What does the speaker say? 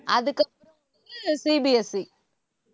CBSE